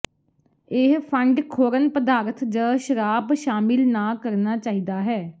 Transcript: ਇਹ ਫੰਡ ਖੋਰਨ ਪਦਾਰਥ ਜ ਸ਼ਰਾਬ ਸ਼ਾਮਿਲ ਨਾ ਕਰਨਾ ਚਾਹੀਦਾ ਹੈ